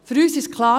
Für uns ist klar: